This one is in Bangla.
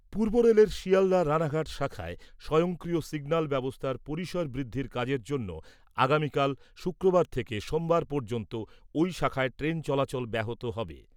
পূর্বরেলের শিয়ালদা রাণাঘাট শাখায় স্বয়ংক্রিয় সিগন্যাল ব্যবস্থার পরিসর বৃদ্ধির কাজের জন্য আগামীকাল শুক্রবার থেকে সোমবার পর্যন্ত ঐ শাখায় ট্রেন চলাচল ব্যাহত হবে।